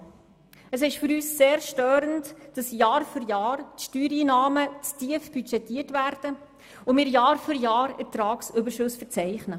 Für uns ist es sehr störend, dass die Budgeteinnahmen Jahr für Jahr zu tief budgetiert werden und wir Jahr für Jahr Überschüsse verzeichnen.